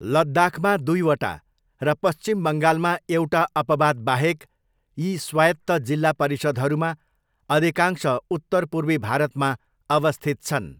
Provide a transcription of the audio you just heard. लद्दाखमा दुईवटा र पश्चिम बङ्गालमा एउटा अपवाद बाहेक यी स्वायत्त जिल्ला परिषद्हरूमा अधिकांश उत्तर पूर्वी भारतमा अवस्थित छन्।